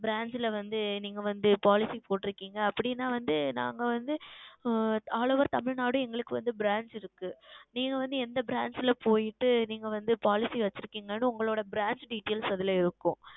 Branch ல வந்து நீங்கள் Policy போட்டுள்ளீர்கள் அப்படி என்றால் நாங்கள் வந்து உம் All Over Tamilnadu ம் எங்களுக்கு வந்து Branch உள்ளது நீங்கள் வந்து எந்த Branch ல சென்று நீங்கள் வந்து Policy வைத்துள்ளீர்கள் என்று உங்கள் Branch Details அதில் இருக்கும்